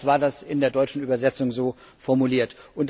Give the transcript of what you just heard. Jedenfalls war das in der deutschen Übersetzung so formuliert.